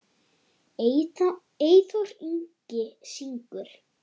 Eyþór Ingi syngur.